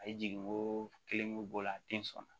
A ye jigin ko kelen mun bɔ o la a den sɔn na